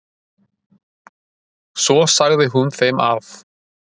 Svo sagði hún þeim að